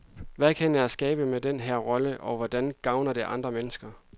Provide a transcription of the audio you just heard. Hvad kan jeg skabe med den her rolle og hvordan gavner det andre mennesker?